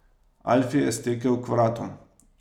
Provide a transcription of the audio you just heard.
Alfi je stekel k vratom.